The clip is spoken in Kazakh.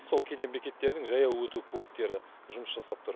сол кеден бекеттерінің жаяу өту пункттері жұмыс жасап тұр